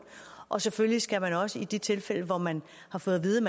og selvfølgelig skal man også i de tilfælde hvor man har fået at vide